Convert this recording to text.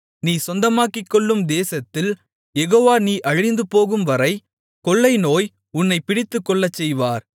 நீ சொந்தமாக்கிக்கொள்ளும் தேசத்தில் யெகோவா நீ அழிந்துபோகும்வரை கொள்ளை நோய் உன்னைப் பிடித்துக்கொள்ளச்செய்வார்